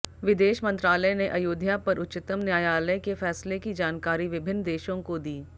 विदेश मंत्रालय ने अयोध्या पर उच्चतम न्यायालय के फैसले की जानकारी विभिन्न देशों को दी